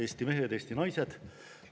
Eesti mehed, Eesti naised!